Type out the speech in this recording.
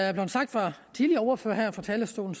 er blevet sagt af tidligere ordførere her fra talerstolen